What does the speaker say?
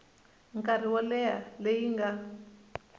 nkarhi wo leha leyi nga